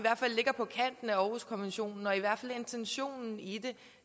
ligger på kanten af århuskonventionen eller i hvert fald intentionen i det